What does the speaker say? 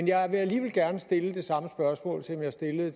jeg vil alligevel gerne stille det samme spørgsmål som jeg stillede